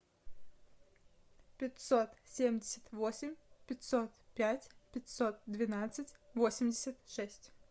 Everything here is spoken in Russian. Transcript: пятьсот семьдесят восемь пятьсот пять пятьсот двенадцать восемьдесят шесть